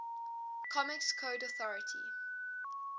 comics code authority